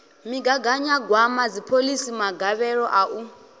migaganyagwama dziphoḽisi magavhelo a u